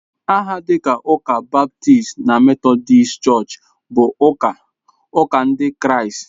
Aha dịka Ụka ​​Baptist na Methodist Church bụ ụka ụka Ndị Kraịst.